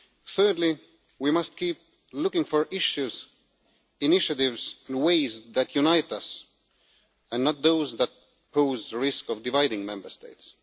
Thirdly, we must keep looking for issues, initiatives and ways that unite us, and not those that pose a risk of dividing Member States.